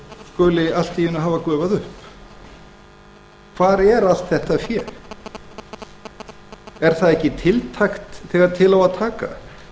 skuli allt í einu hafa gufað upp hvar er allt þetta fé er það ekki tiltækt þegar til á að taka